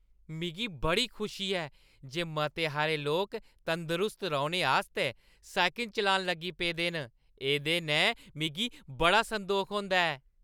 मिगी बड़ी खुशी ऐ जे मते हारे लोक तंदरुस्त रौह्‌ने आस्तै साइकल चलान लगी पेदे न । एह्दे नै मिगी बड़ा संदोख होंदा ऐ।